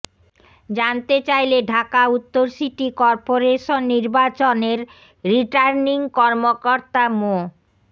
জানতে চাইলে ঢাকা উত্তর সিটি কর্পোরেশন নির্বাচনের রিটার্নিং কর্মকর্তা মো